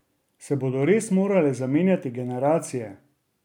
Se bodo res morale zamenjati generacije?